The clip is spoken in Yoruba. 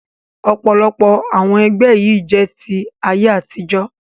Ọ̀pọ̀lọpọ̀ àwọn ẹgbẹ́ yìí jẹ́ ti ayé àtijọ́